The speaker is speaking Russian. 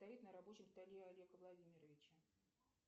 стоит на рабочем столе у олега владимировича